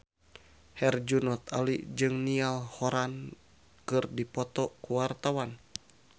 Herjunot Ali jeung Niall Horran keur dipoto ku wartawan